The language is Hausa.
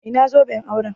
Ina zoben auren?